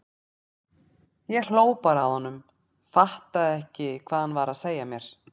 Ég hló bara að honum, fattaði ekki hvað hann var að segja mér.